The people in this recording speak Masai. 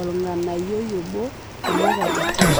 olng'anayio obo kulie katitin.